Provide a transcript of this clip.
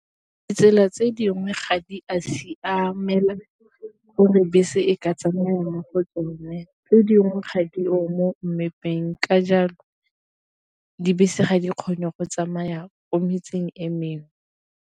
Tsela tse dingwe ga di a siamela gore bese e ka tsamaya mo go tsone, tse dingwe ga di o mo mmepe teng ka jalo dibese ga di kgone go tsamaya ko metseng e mengwe.